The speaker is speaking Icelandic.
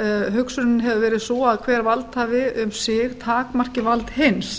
hefur verið sú að hver valdhafi um sig takmarki vald hins